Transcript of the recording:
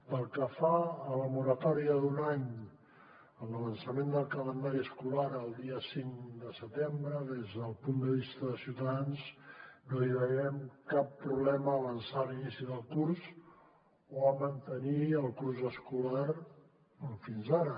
pel que fa a la moratòria d’un any en l’avançament del calendari escolar al dia cinc de setembre des del punt de vista de ciutadans no veiem cap problema a avançar l’inici del curs o a mantenir el curs escolar com fins ara